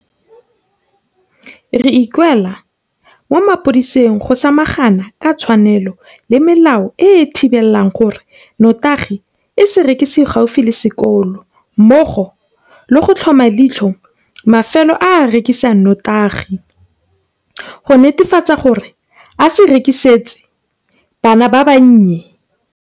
Re ikuela mo mapodising go samagana ka tshwanelo le melao e e thibelang gore notagi e se rekisiwe gaufi le sekolo mmogo le go tlhoma leitlho mafelo a a rekisang notagi go netefatsa gore a se e rekisetse bana ba bannye.